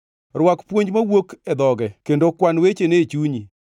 Rwak puonj mowuok e dhoge kendo kan wechene e chunyi.